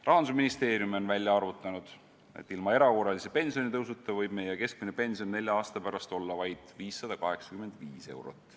Rahandusministeerium on välja arvutanud, et ilma erakorralise pensionitõusuta võib keskmine pension nelja aasta pärast olla vaid 585 eurot.